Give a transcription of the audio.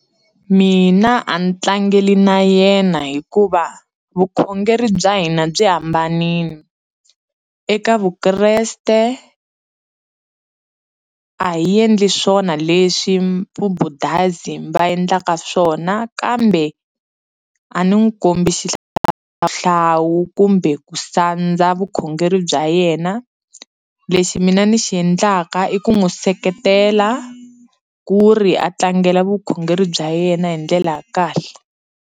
Mina a ni tlangela na yena, hikuva vukhongeri bya hina byi hambanile. Eka Vukreste a hi endli swona leswi Vubundhuism va endlaka swona. Kambe a ni n'wi kombi xihlawuhlawu kumbe ku sandza vukhongeri bya yena, lexi mina ni xi endlaka i ku n'wi seketela ku ri a tlangela vukhongeri bya yena hi ndlela ya kahle.